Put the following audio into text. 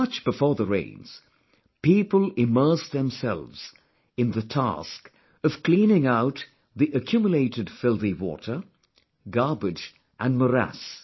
Much before the rains, people immersed themselves in the task of cleaning out the accumulated filthy water, garbage and morass